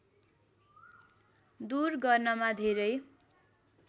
दूर गर्नमा धेरै